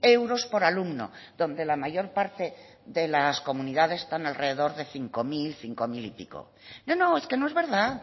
euros por alumno donde la mayor parte de las comunidades están alrededor de cinco mil cinco mil y pico no no es que no es verdad